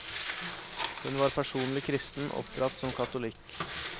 Hun var personlig kristen, oppdratt som katolikk.